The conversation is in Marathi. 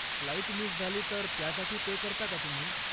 फ्लाईट मिस झाली तर त्यासाठी पे करता का तुम्ही?